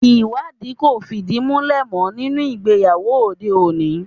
Ìwádìí kò fìdí múlẹ̀ mọ́ nínú ìgbéyàwó òde òní